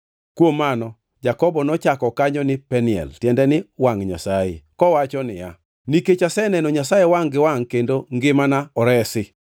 Kuom mano Jakobo nochako kanyo ni Peniel (tiende ni wangʼ Nyasaye) kowacho niya, “Nikech aseneno Nyasaye wangʼ gi wangʼ kendo ngimana oresi.”